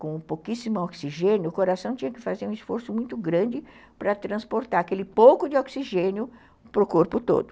Com pouquíssimo oxigênio, o coração tinha que fazer um esforço muito grande para transportar aquele pouco de oxigênio para o corpo todo.